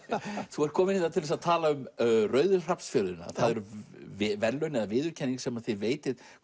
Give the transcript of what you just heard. þú ert kominn hér til þess að tala um rauðu það eru verðlaun eða viðurkenning sem þið veitið